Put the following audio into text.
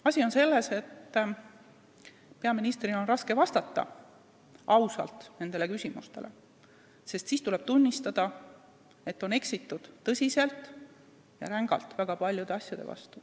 Asi on selles, et peaministril on raske ausalt vastata nendele küsimustele, sest siis tuleks tunnistada, et väga paljude asjade vastu on tõsiselt ja rängalt eksitud.